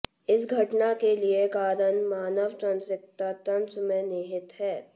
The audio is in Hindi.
इस घटना के लिए कारण मानव तंत्रिका तंत्र में निहित है